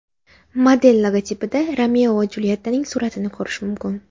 Model logotipida Romeo va Juliyettaning suratini ko‘rish mumkin.